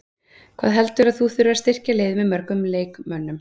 Hvað heldurðu að þú þurfir að styrkja liðið með mörgum leikmönnum?